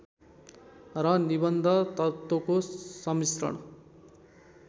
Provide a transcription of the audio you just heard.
र निबन्ध तत्त्वको सम्मिश्रण